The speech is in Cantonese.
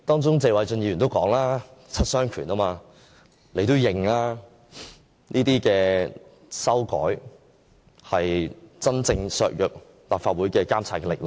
謝偉俊議員也說七傷拳，他也承認，這些修改真正會削弱立法會的監察力量。